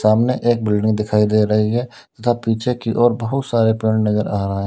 सामने एक बिल्डिंग दिखाई दे रही है तथा पीछे की ओर बहोत सारे पेड़ नजर आ रहे हैं।